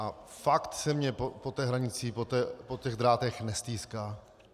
A fakt se mi po té hranici, po těch drátech nestýská.